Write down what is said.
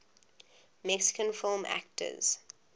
mexican film actors